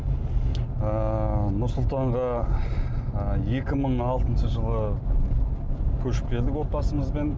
ыыы нұр сұлтанға ы екі мың алтыншы жылы көшіп келдік отбасымызбен